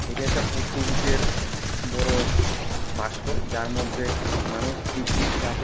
এটা একটা পোস্ট অফিসের বড়ো বাস্ক যার মধ্যে মানুষ চিঠি রাখে।